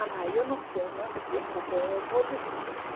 A mãe, eu não sei, não te preocupe, eu vou descobrir.